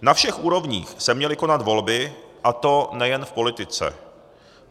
Na všech úrovních se měly konat volby, a to nejen v politice.